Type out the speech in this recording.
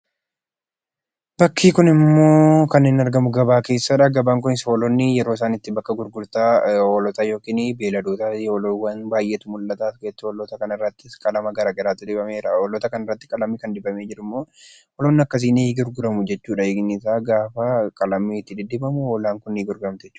Bakki kunimmoo kan inni argamu, gabaa keessadha. Gabaan kunis hoolonni yeroo isaan itti bakka gurgurtaa hoolotaa yookiin beelladoota, loowwan baayyeetu mul'ata. Gateettii Hoolataa kanarrattis qalama gargaraatu dibamee jira. Hoolota kana irratti kan dibamee jirummoo, hoolonni akkasii ni gurguramu jechuudha hiikni isaa, gaafa qalamiin itti diddibamu hoolaan kun ni gurguramti jechuudha.